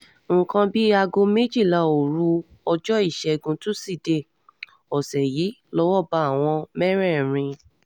nǹkan bíi aago méjìlá òru ọjọ́ ìṣègùn tusidee ọ̀sẹ̀ yìí lọ́wọ́ bá àwọn mẹ́rẹ̀ẹ̀rin